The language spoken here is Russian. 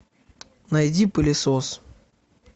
найди пылесос